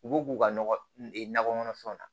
U b'u k'u ka nɔgɔ e nakɔ kɔnɔfɛnw na